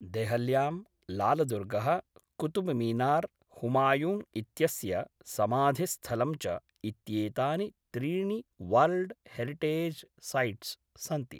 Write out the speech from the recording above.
देहल्यां, लालदुर्गः, कुतुबमीनार्, हुमायुँ इत्यस्य समाधिस्थलं च, इत्येतानि त्रीणि वर्ल्ड् हेरिटेज् सैट्स् सन्ति।